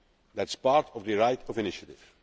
that is part of the right of initiative.